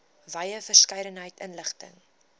wye verskeidenheid inligting